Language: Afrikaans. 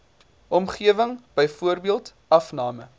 omgewing byvoorbeeld afname